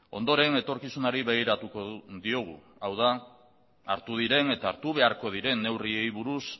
ondoren etorkizunari begiratuko diogu hau da hartu diren eta hartu beharko diren neurriei buruz